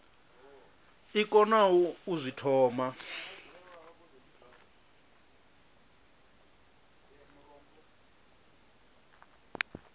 i konaho u zwi thoma